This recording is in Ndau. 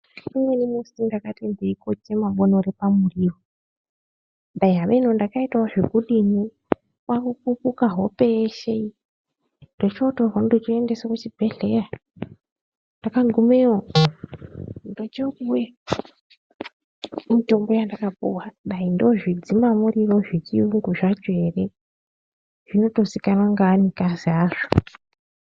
Umweni musi ndakati ndeikoche mabonore pamuriro, dai hamenoo kuti ndakaitavo zvekudini kwakupukupa hope yeshe iyi, ndichootorwaa ndichooendeswe kuchibhedhleyaa. Ndakagumeyo ndochopuwee mitombo yandakapuwaa, dai ndozvidzimaa muriro zvechiyungu zvacho hereee, zvinotozvikanwa nevanikazi azvoo..